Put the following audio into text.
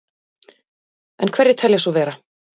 En hverjir telji svo vera?